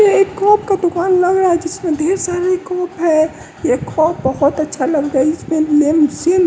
ये एक कप का दुकान लग रहा है जिसमें ढेर सारा ये कप है ये कप बहुत अच्छा लग रहा है इसमें--